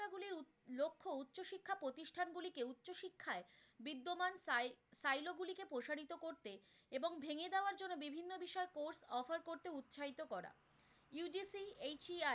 সত্যায়িত করা, UGCHEI